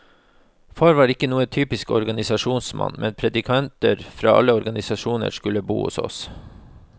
Far var ikke noen typisk organisasjonsmann, men predikanter fra alle organisasjoner skulle bo hos oss.